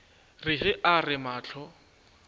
re ge a re mahlo